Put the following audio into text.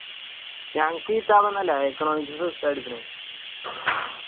ഞങ്ങക്ക് കിത്താബോന്നല്ല economics ഉസ്താദ് എടുക്കണ്